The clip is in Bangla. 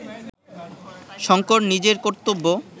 শঙ্কর নিজের কর্তব্য